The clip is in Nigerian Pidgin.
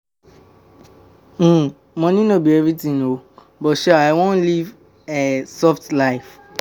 um Money no be everything oo, but sha I wan leave um soft um life.